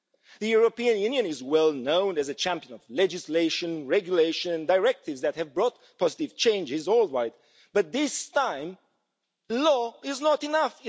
The European Union is well known as a champion of legislation, regulation, directives that have brought positive changes alright, but this time law is not enough.